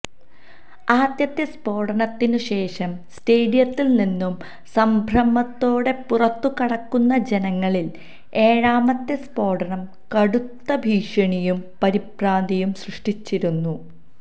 ആദ്യത്തെ സ്ഫോടനത്തിന് ശേഷം സ്റ്റേഡിയത്തിൽ നിന്നും സംഭ്രമത്തോടെ പുറത്ത് കടക്കുന്ന ജനങ്ങളിൽ ഏഴാമത്തെ സ്ഫോടനം കടുത്ത ഭീഷണിയും പരിഭ്രാന്തിയും സൃഷ്ടിച്ചിരുന്നു